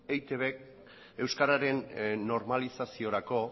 eitb euskararen normalizaziorako